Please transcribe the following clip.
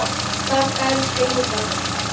Takk, elsku Inga.